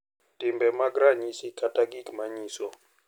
timbe mag ranyisi kata gik ma nyiso,